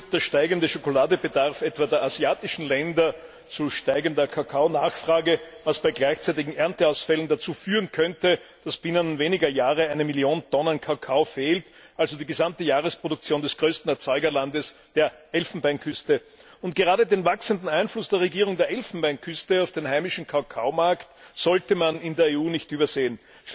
Der steigende Schokoladebedarf, etwa der asiatischen Länder, führt zu steigender Kakaonachfrage, was bei gleichzeitigen Ernteausfällen bewirken könnte, dass binnen weniger Jahre eine Million Tonnen Kakao fehlt, also die gesamte Jahresproduktion des größten Erzeugerlandes, der Elfenbeinküste. Und gerade den wachsenden Einfluss der Regierung der Elfenbeinküste auf den heimischen Kakaomarkt sollte man in der EU nicht übersehen.